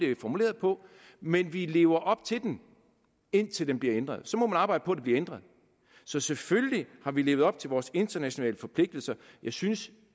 er formuleret på men vi lever op til den indtil den bliver ændret så må man arbejde på at den bliver ændret så selvfølgelig har vi levet op til vores internationale forpligtelser jeg synes